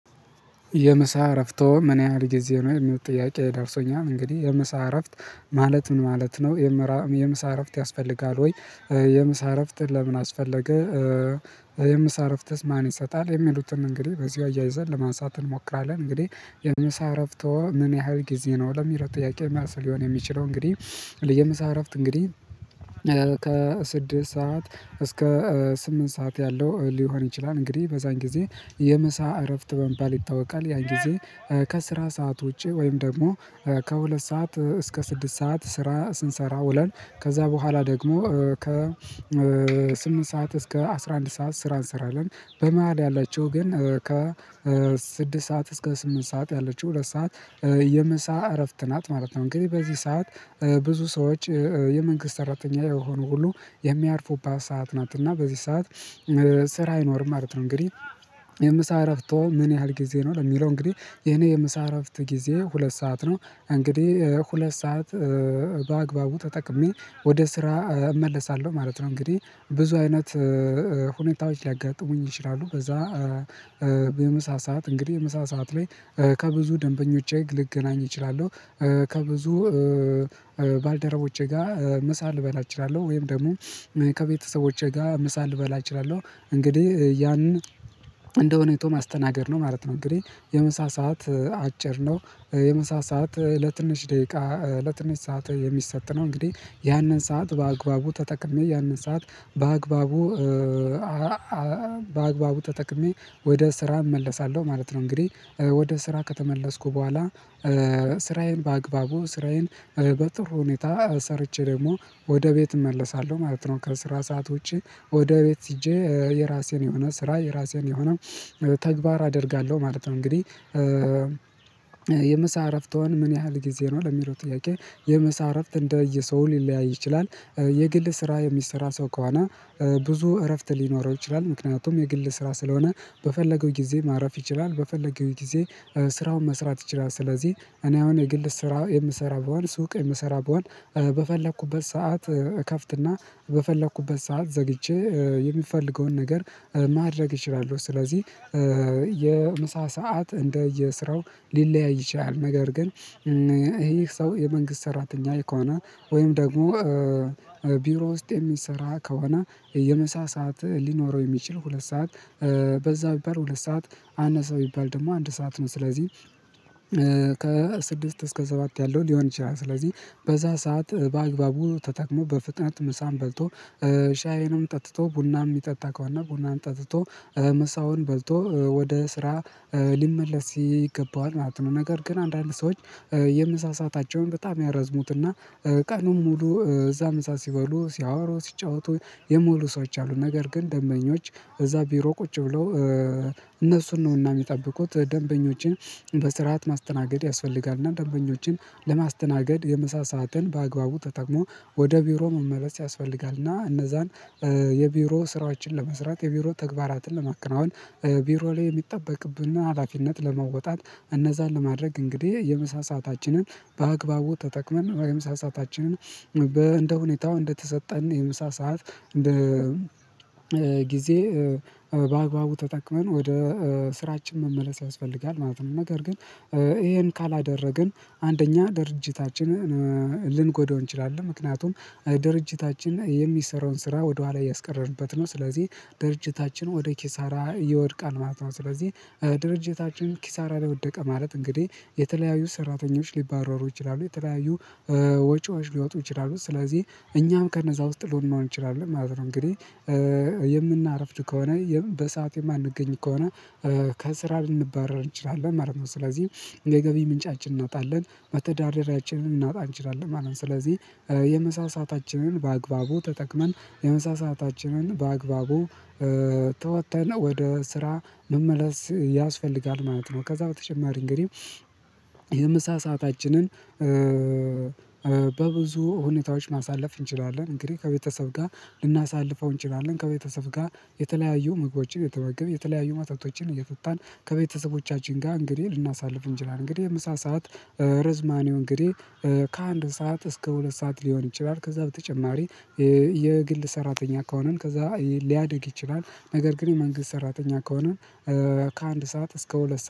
የምሳ እረፍቶ ምን ያህል ጊዜ ነው የሚል ጥያቄ የደርሶኛል። እንግዲህ የምሳ እረፍት ማለት ምን ማለት ነው? የምሳ እረፍት ያስፈልጋል ወይ? የምሳረፍትን ለምን አስፈለገ? የምሳ እረፍትስ ማን ይሰጣል የሚሉትን እንግዲህ በዚሁ አያይዘን ለማንሳት እንሞክራለን። እንግዲህ የምእ እረፍቶ ምን ያህል ጊዜ ነው ለሚለው ጥያቄ መልስ ሊሆን የሚችለው? እንግዲህ የምሳ እረፍት እንግዲህ ከስድስት ሰዓት እስከ ስምንት ሰዓት ያለው ሊሆን ይችላል። እንግዲህ በዛን ጊዜ የምሳ እረፍት በመባል ይታወቃል። ያን ጊዜ ከስራ ሰዓት ውጪ ወይም ደግሞ ከሁለት ሰዓት እስከ ስድስት ሰዓት ስራ ስንሰራ ውለን ከዛ በኋላ ደግሞ ከ ስምንት ሰዓት እስከ አስራ አንድ ሰዓት ስራ እንሰራለን። በመሃል ያላቸው ግን ከ ስድስት ሰዓት እስከ ስምንት ሰዓት ያለችው ሁለት ሰዓት የምሳ እረፍት ናት ማለት ነው። እንግዲህ በዚህ ሰዓት ብዙ ሰዎች የመንግስት ሰራተኛ የሆኑ ሁሉ የሚያርፉባተሰ ሰዓት ናት እና በዚህ ሰዓት ስራ አይኖርም አይኖርም ማለት ነው። እንግዲህ የምሳ እረፍቶ ምን ያህል ጊዜ ነው ለሚለው እንግዲህ የኔ የመሳረፍት ጊዜ ሁለት ሰዓት ነው። እንግዲህ ሁለት ሰዓት በአግባቡ ተጠቅሜ ወደ ስራ እመለሳለሁ ማለት ነው። እንግዲህ ብዙ አይነት ሁኔታዎች ሊያጋጥሙኝ ይችላሉ። በዛ በምሳ ሰዓት እንግዲህ የምሳ ሰዓት ላይ ከብዙ ደንበኞቼ ልገናኝ እችላለሁ። ከብዙ ባልደረቦቼ ጋር ምሳ ልበላ እችላለሁ። ወይም ደግሞ ከቤተሰቦቼ ጋር ምሳ ልበላ እችላለሁ። እንግዲህ ያንን እንደሁኔታው ማስተናገድ ነው ማለት ነው። እንግዲህ የምሳ ሰዓት አጭር ነው። የምሳ ለትንሽ ደቂቃ ለትንሽ ሰዓት የሚሰጥ ነው። እንግዲህ ያንን ሰዓት በአግባቡ ተጠቅሜ ያንን ሰዓት በአግባቡ ተጠቅሜ ወደ ስራ እመለሳለሁ ማለት ነው። እንግዲህ ወደ ስራ ከተመለስኩ በኋላ ስራዬን በአግባቡ ስራዬን በጥሩ ሁኔታ ሰርቼ ደግሞ ወደ ቤት እመለሳለሁ ማለት ነው። ከስራ ሰዓት ውጪ ወደ ቤት ሂጄ የራሴን የሆነ ስራ የራሴን የሆነ ተግባር አደርጋለሁ ማለት ነው። እንግዲህ የምሳ ረፍትወ ምን ያህል ጊዜ ነው ለሚለው ጥያቄ የመሳረፍት እንደ ሰው ሊለያይ ይችላል። የግል ስራ የሚሰራ ሰው ከሆነ ብዙ እረፍት ሊኖረው ይችላል። ምክንያቱም የግል ስራ ስለሆነ በፈለገው ጊዜ ማረፍ ይችላል። በፈለገው ጊዜ ስራውን መስራት ይችላል። ስለዚህ እኔ አሁን የግል ስራ የምሰራው በዋን ሱቅ የምሰራው በዋን በፈለኩበት ሰዓት እከፍትና በፈለኩበት ሰዓት ዘግቼ የምፈልገውን ነገር ማድረግ እችላለሁ። ስለዚህ የምሳ ሰዓት እንደ የስራው ሊለያይ ይችላል። ነገር ግን ይሄ ሰው የመንግስት ሰራተኛ ከሆነ ወይም ደግሞ ቢሮ ውስጥ የሚሰራ ከሆነ የመሳሳት ሊኖረው የሚችል ሁለት ሰዓት በዛ ቢባል ሁለት ሰዓት አነሰው ይባል ደግሞ አንድ ሰዓት ነው ስለዚህ ከስድስት እስከ ሰባት ያለው ሊሆን ይችላል። ስለዚህ በዛ ሰዓት በአግባቡ ተጠቅሞ በፍጥነት ምሳን በልቶ ሻዩንም ጠጥቶ ቡናም የሚጠጣ ከዋና ቡናን ጠጥቶ መሳውን በልቶ ወደ ስራ ሊመለስ ይገባዋል ማለት ነው። ነገር ግን አንዳንድ ሰዎች የመሳሳታቸውን በጣም ያረዝሙትና ቀኑን ሙሉ እዛም ሰዓት ሲባሉ ሲያወሩ ሲጫወቱ የሚውሉ ሰዎች አሉ። ነገር ግን ደንበኞች እዛ ቢሮ ቁጭ ብለው እነሱን ነውና የሚጠብቁት። ደንበኞችን በስርዓት ማስተናገድ ያስፈልጋልና ደንበኞችን ለማስተናገድ የመሳሰል ሳጥን በአግባቡ ተጠምሞ ወደ ቢሮ መመለስ ያስፈልጋል። እና እነዛን የቢሮ ስራዎችን ለመስራት የቢሮ ተግባራትን ለማክንናወን ቢሮ ላይ የሚጠበቅብንና ሀላፊነት ለመወጣት እነዛን ለማድረግ እንግዲህ የምሳ ሰአታችንን በአግባቡ ተጠቅመን የምሳ ሰአታችንን እንደ እንደተሰጠን የምሳ ሰዓት እንደ ጊዜ በአግባቡ ተጠቅመን ወደ ስራችን መመለስ ያስፈልጋል ማለት ነው። ነገር ግን ይሄን ካላደረግን አንደኛ ድርጅታችን ልንጎዳው እንችላለን። ምክንያቱም ድርጅታችን የሚሰራውን ስራ ወደኋላ እያስቀረርበት ነው። ስለዚህ ድርጅታችን ወደ ኪሳራ ይወድቃል ማለት ነው። ስለዚህ ድርጅታችን ኪሳራ ለወደቀ ማለት እንግዲህ የተለያዩ ሰራተኞች ሊባረሩ ይችላሉ። የተለያዩ ወጪዎች ሊወጡ ይችላሉ ስለዚህ እኛም ከነዛ ውስጥ ልንሆን እንችላለን ማለት ነው። እንግዲህ የምናረፍድ ከሆነ በሰአቱ የማንገኝ ከሆነ ከስራ ልንባረር እንችላለን ማለት ነው። ስለዚህ የገቢ ምንጫችን እናጣለን መተዳደሪያችንልናጣ እንችላለን ማለት ነው። ስለዚህ የምሳ ሰአታችንን በአግባቡ ተጠቅመን የመሳሳታችንን በአግባቡ ተወተን ወደ ስራ መመለስ ያስፈልጋል ማለት ነው። ከዛ በተጨማሪ እንግዲህ የምሳ ሰአታችንን በብዙ ሁኔታዎች ማሳለፍ እንችላለን። እንግዲህ ከቤተሰብ ጋር ልናሳልፈው እንችላለን ከቤተሰብ ጋር የተለያዩ ምግቦችን የተበገበ የተለያዩ ማጣቶችን እየጡታን ከቤተሰቦቻችን ጋር እንግዲህ ልናሳልፍ እንችላለን። እንግዲህ የምሳ ሰዓት ርዝማኔው እንግዲህ ከአንድ ሰዓት እስከ ሁለት ሰዓት ሊሆን ይችላል። ከዛ በተጨማሪ የግል ሰራተኛ ከሆነን ከዛ ሊያድግ ይችላል። ነገር ግን የመንግስት ሰራተኛ ከሆነ ከአንድ ሰዓት እስከ ሁለት